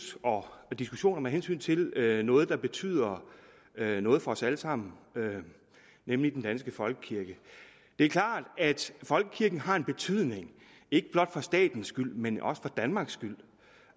og diskussioner med hensyn til noget der betyder noget for os alle sammen nemlig den danske folkekirke det er klart at folkekirken har en betydning ikke blot for statens skyld men også for danmarks skyld